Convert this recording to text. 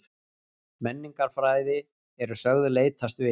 Menningarfræði eru sögð leitast við